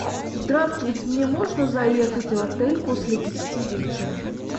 здравствуйте мне можно заехать в отель после десяти вечера